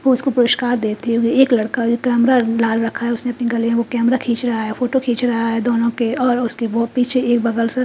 ओ उसको पुरस्कार देते हुए एक लड़का जो कैमरा लखा है उसने आपने गले को कैमरा खींच रहा है फोटो खींच रहा है दोनों के और उसके ओ पीछे एक --